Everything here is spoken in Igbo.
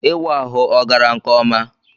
Ịwa ahụ ọ gara nke ọma?